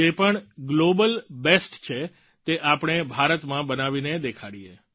જે પણ global best છે તે આપણે ભારતમાં બનાવીને દેખાડીએ